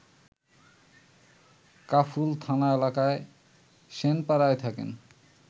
কাফরুল থানা এলাকার সেনপাড়ায় থাকেন